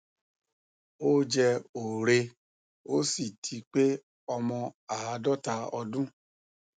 ó jẹ òre ó sì ti pé ọmọ àádọta ọdún